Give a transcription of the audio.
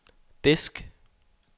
disk